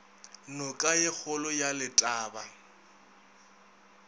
noka ye kgolo ya letaba